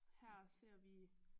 Her ser vi